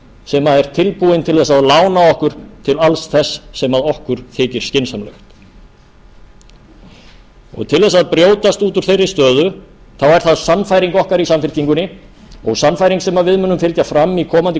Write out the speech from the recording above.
sem er tilbúinn til þess að lána okkur til alls þess sem okkur þykir skynsamlegt til þess að brjótast út úr þeirri stöðu er það sannfæring okkar í samfylkingunni og sannfæring sem við munum fylgja fram í komandi